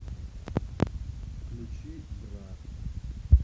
включи бра